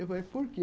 Eu falei, por quê?